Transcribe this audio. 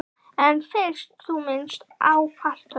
En fyrst þú minntist á fartölvu.